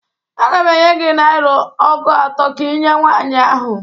Aga m enye gị naịra ọgụ atọ ka inye nwaanyị ahụ.